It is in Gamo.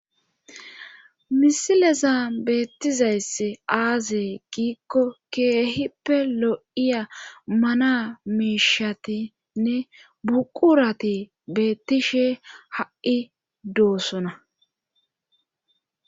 misilzan beettizaysi aaze giikko keehippe lo7iya mana miishatinne buqurati bettishe ha7i doosona